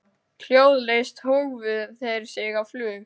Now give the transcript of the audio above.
Hljóðlaust hófu þeir sig á flug.